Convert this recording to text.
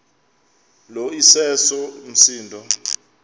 lo iseso msindo